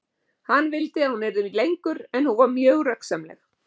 Hann vildi að hún yrði lengur en hún var mjög röggsamleg.